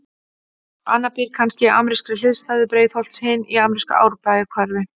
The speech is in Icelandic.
Annar býr kannski í amerískri hliðstæðu Breiðholts, hinn í amerísku Árbæjarhverfi.